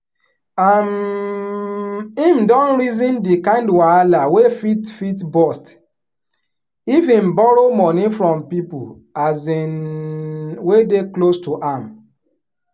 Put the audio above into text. um him don reason the kind wahala wey fit fit burst if him borrow money from people um wey dey close to am